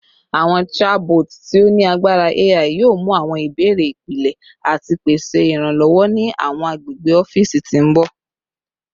Awọn chabots ti o ni agbara AI yoo mu awọn ibeere ipilẹ ati pese iranlọwọ ni awọn agbegbe ọfiisi ti n bọ